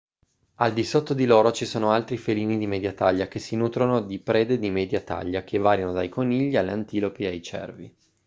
al di sotto di loro ci sono altri felini di media taglia che si nutrono di prede di media taglia che variano dai conigli alle antilopi e ai cervi